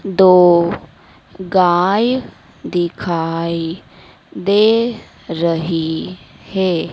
दो गाय दिखाई दे रही है।